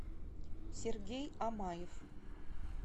сергей амаев